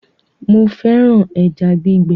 Mo fẹ́ràn ẹja gbígbẹ